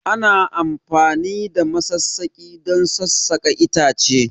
Ana amfani da masassaki don sassaƙa itace